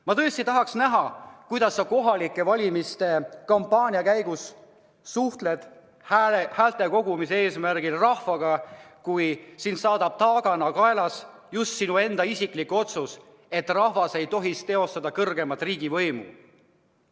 Ma tõesti tahaks näha, kuidas sa kohalike valimiste kampaania käigus suhtled häälte kogumise eesmärgil rahvaga, kui sind saadab taagana kaelas sinu enda isiklik otsus, et rahvas ei tohiks teostada kõrgeimat riigivõimu.